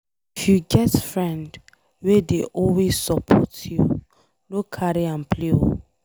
If you get friend wey dey always support you, no carry am play oo.